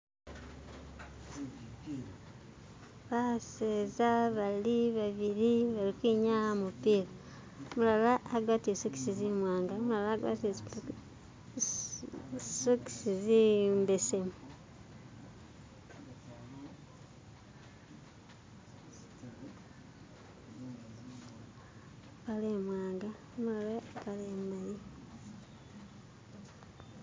ba'seza bali ba'bili bali kwi'nyaya umulala a'gwatile zi'sokisi zi'mwanga uumulala a'gwatile sokisi zi'mbesemu